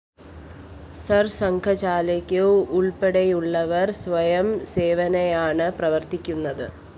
സിർ സംഘചാലക് ഉള്‍പ്പടെയുള്ളവര്‍ സ്വയം സേവകനായാണ് പ്രവര്‍ത്തിക്കുന്നത്